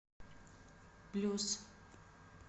блюз